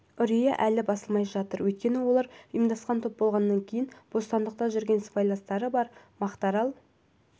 үрейі әлі басылмай жатыр өйткені олар ұйымдасқан топ болғаннан кейін бостандықта жүрген сыбайластары бар мақтарал